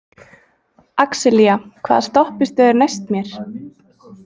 Axelía, hvaða stoppistöð er næst mér?